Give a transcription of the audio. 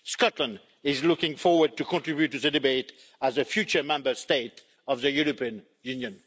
Scotland is looking forward to contribute to the debate as a future Member State of the European Union.